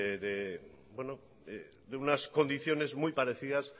de unas condiciones muy parecidas